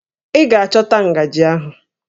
Ị ga-achọta ngajị ahụ!